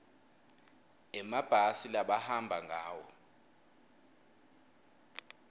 emabhasi labahamba ngawo